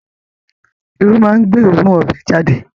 Irú máa ń gbé oòrùn ọbẹ̀ jáde